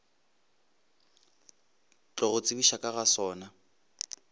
tlogo tsebišwa ka ga sona